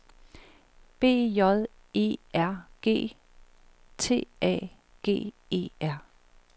B J E R G T A G E R